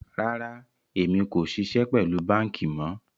Rárá, ẹ̀mi kò ṣíṣẹ̀ pẹ̀lú bankí mọ̀.